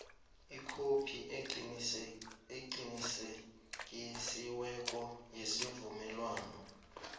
ikhophi eqinisekisiweko yesivumelwano